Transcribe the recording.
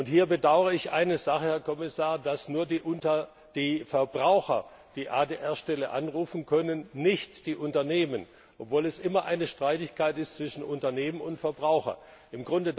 Hier bedauere ich eine Sache, Herr Kommissar, dass nur die Verbraucher die ADR Stelle anrufen können, nicht aber die Unternehmen, obwohl es immer um eine Streitigkeit zwischen Unternehmen und Verbrauchern geht.